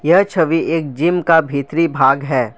यह छवि एक जिम का भीतरी भाग है।